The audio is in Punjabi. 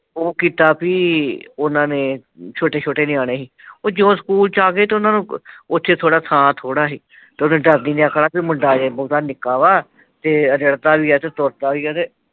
ਉਹ ਕੀਤਾ ਵੀ ਉਹਨਾਂ ਨੇ ਛੋਟੇ ਛੋਟੇ ਨਿਆਣੇ ਹੀ ਉਹ ਜਦੋਂ ਸਕੂਲ ਚ ਆ ਗਏ ਤਾਂ ਉਨ੍ਹਾਂ ਨੂੰ ਉੱਥੇ ਥਾਂ ਥੌੜ੍ਹਾ ਸੀ ਤੇ ਉਹਨੇ ਡਰਦੀ ਨੇ ਆਖਣਾ ਕਿ ਮੁੰਡਾ ਅਜੇ ਨਿੱਕਾ ਵਾ ਤੇ ਰਿੜਦਾ ਵੀ ਹੈ ਤੇ ਤੁਰਦਾ ਵੀ ਤੇ